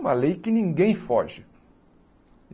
Uma lei que ninguém foge.